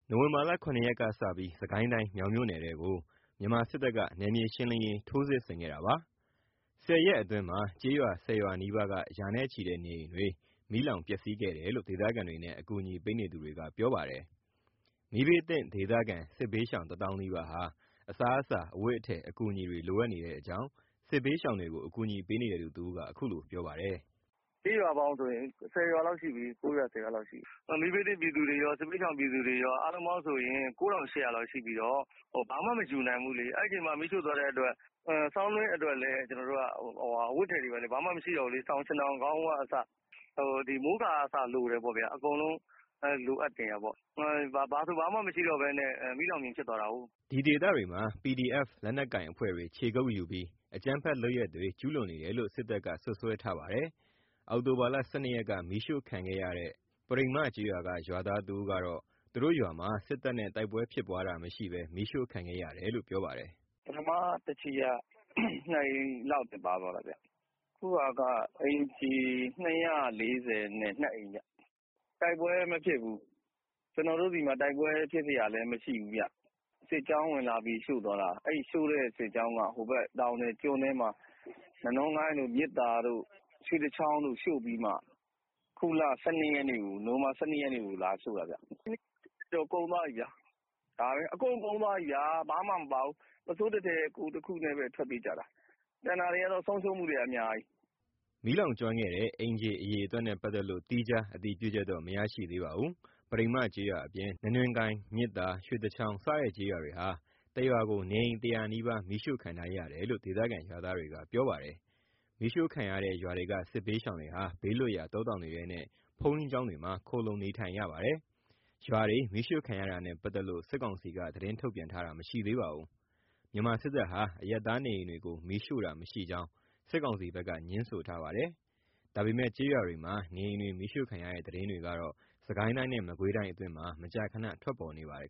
နိုဝင်ဘာ ၇ ရက်ကစပြီး စစ်ကိုင်းတိုင်းမြောင်မြို့နယ်ထဲကို မြန်မာစစ်တပ်က နယ်မြေရှင်းလင်းရေး ထိုးစစ်ဆင်ခဲ့တာပါ။ ၁၀ ရက်အတွင်းမှာ ကျေးရွာ ၁၀ ရွာနီးပါးက ရာနဲ့ချီတဲ့ နေအိမ်တွေ မီးလောင်ပျက်စီးခဲ့တယ်လို့ ဒေသခံတွေနဲ့ အကူအညီပေးနေသူတွေက ပြောပါတယ်။ မီးဘေးသင့် ဒေသခံ စစ်ဘေးရှောင် ၁ သောင်းနီးပါးဟာ အစားအသောက်၊ အဝတ်အထည်အကူအညီတွေ လိုအပ်နေတဲ့အကြောင်း စစ်ဘေးရှောင်တွေကို အကူညီပေးနေတဲ့သူ တဦးက အခုလိုပြောပါတယ်။ “ကျေးရွာပေါင်းဆို ၁၀ ရွာလောက်ရှိပြီ မီးဘေးသင့်ပြည်သူတွေကာ။ စစ်ဘေးရှောင်ပြည်သူကော အားလုံးပေါင်း ၉၈၀၀ လောက်ရှိပြီးတော့ ဘာမှမယူနိုင်ဘူးလေ။ အဲ့အချိန်မှာ မီးရှို့သွားတဲ့အတွက် ဆောင်းတွင်းအတွက်လည်း အဝတ်အထည်တွေ ဘာမှမရှိတော့ဘူးလေ။ စောင်ခြင်ထောင်ခေါင်းအုံးကအစ မိုးကာကအစလိုတယ်။ အကုန်လုံးလိုအပ်နေတာ။ ဘာဆိုဘာမှ မရှိတော့ဘဲ မီးလောင်ပြင်ဖြစ်သွားတာကို။” ဒီဒေသတွေမှာ PDF လက်နက်ကိုင်အဖွဲ့တွေ ခြေကုတ်ယူပြီး အကြမ်းဖက်လုပ်ရပ်တွေ ကျုးလွန်နေတယ်လို့ စစ်တပ်က စွပ်စွဲထားပါတယ်။ အောက်တိုဘာ ၁၂ ရက်က မီးရှို့ခံရတဲ့ ပရိမ္မကျေးရွာက ရွာသားတဦးကတော့ သူတို့ရွာမှာ စစ်တပ်နဲ့ တိုက်ပွဲဖြစ်ပွားတာမရှိဘဲ မီးရှို့ခံခဲ့ရတယ်လို့ ပြောပါတယ်။ “ပထမ တချီက ၂ အိမ်လောက်ပဲပါသွားတာ။ အခုက အိမ်ခြေ ၂၄၂ အိမ် တိုက်ပွဲမဖြစ်ဘူး ကျွန်တော်တို့ဆီမှာ တိုက်ပွဲဖြစ်စရာလည်းမရှိဘူး။ စစ်ကြောင်းဝင်လာပြီးရှို့သွားတာ အဲ့ရှို့တဲ့ စစ်ကြောင်းက ဟိုဘက်က တောင်လယ် ကျွန်းထဲမှာ နနွင်းကိုင်းတို့ မြစ်သာတို့ ရွှေတချောင်းတို့ရှို့ပြီးမှ အခုလ ၁၂ ရက်နေ့ကို လာရှို့တာ။ အကုန်ကုန်သွားပြီ ဘာမှ မပါဘူး ။ပုဆိုးတထည်၊ ကိုယ်တခုတည်းနဲ့ ထွက်ပြေးကြတာ။” မီးလောင်ကျွမ်းခဲ့တဲ့ အိမ်ခြေအရေအတွက်နဲ့ ပတ်သက်လို့ သီးခြား အတည်ပြုချက်တော့ မရရှိသေးပါဘူး။ ဂပရိမ္မကျေးရွာအပြင် နနွင်းကိုင်း၊ မြစ်သာ၊ ရွှေတချောင်း စတဲ့ကျေးရွာတွေဟာ တရွာကို နေအိမ် ၁၀၀ နီးပါးမီးရှို့ခံထားရတယ်လို့ ဒေသခံ ရွာသားတွေက ပြောပါတယ်။ မီးရှို့ခံရတဲ့ ရွာတွေက စစ်ဘေးရှောင်တွေဟာ ဘေးလွတ်ရာ တောတောင်တွေထဲနဲ့ ဘုန်းကြီးကျောင်းတွေမှာ ခိုလှုံနေထိုင်နေရပါတယ်။ ရွာတွေ မီးရှို့ခံရတာနဲ့ ပတ်သက်လို့ စစ်ကောင်စီက သတင်းထုတ်ပြန်တာမရှိသေးပါဘူး။ မြန်မာစစ်တပ်ဟာ အရပ်သားနေအိမ်တွေကို မီးရှို့တာမရှိကြောင်း စစ်ကောင်စီဘက်က ငြင်းဆိုထားပါတယ်။ ဒါပေမဲ့ ကျေးရွာတွေမှာ နေအိမ်တွေ မီးရှို့ခံရတဲ့ သတင်းတွေကတော့ စစ်ကိုင်းတိုင်းနဲ့ မကွေးတိုင်း အတွင်းမှာ မကြာခန ထွက်ပေါ်နေပါတယ်